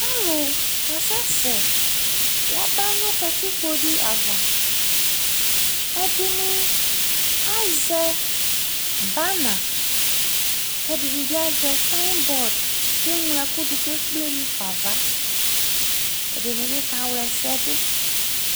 Alʋ kasɛsɛ yaba nʋ katikpo dɩ ava Ɛdɩnɩ azɛ bana kʋ ɛdɩnɩ bɩ azɛ sayɩbɔd kʋ eŋlo ɛkʋ dʋ kʋ ekple mu fa nʋ ava, ɛdɩnɩ bɩ kawla ɛsɛ dʋ